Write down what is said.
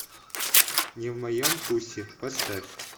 не в моем вкусе поставь